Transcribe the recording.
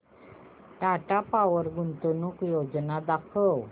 Tata power गुंतवणूक योजना दाखव